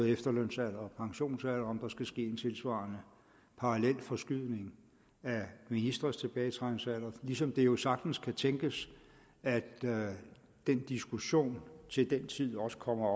efterlønsalderen og pensionsalderen om der skal ske en tilsvarende parallel forskydning af ministres tilbagetrækningsalder ligesom det jo sagtens kan tænkes at den diskussion til den tid også kommer